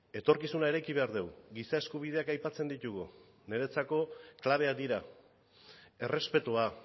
etorkizuna eraiki behar dugu giza eskubideak aipatzen ditugu niretzako klabeak dira errespetua